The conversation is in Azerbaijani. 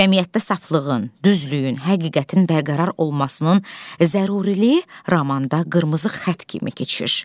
Cəmiyyətdə saflığın, düzlüyün, həqiqətin bərqərar olmasının zəruriliyi romanda qırmızı xətt kimi keçir.